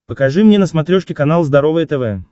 покажи мне на смотрешке канал здоровое тв